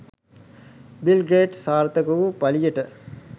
bill Gates සාර්ථක වූ පලියට